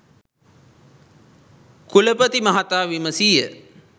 කුලපති මහතා විමසීය